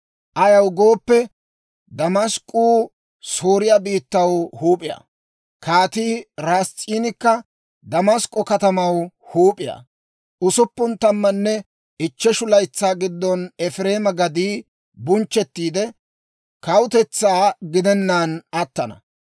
Ayaw gooppe, Damask'k'uu Sooriyaa biittaw huup'iyaa; Kaatii Ras'iinikka Damask'k'o katamaw huup'iyaa. Usuppun tammanne ichcheshu laytsaa giddon Efireema gaddii bunchchettiide, kawutetsaa gidenaan attana.